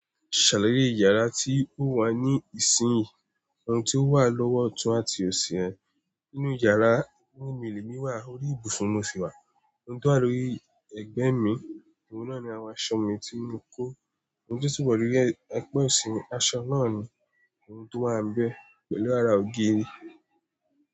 Ṣàlàyé ìyàrá tí ó wà ní ìsìnyìí, ohun tí ó wà lọ́wọ́ ọ̀tún àti òsì ẹ. Nínú ìyàrá, ní mí le mi wà órí ibùsùn mo si wà. Ohun tí wà lórí ẹgbẹ́ mi, ohun náà ni àwọn aṣọ mi tí mo kó. Ohun tí ó wà lórí egbe ọ̀sì mi, aṣọ náà ni ohun tí o wà ń bẹ pẹ̀lú ara ògiri.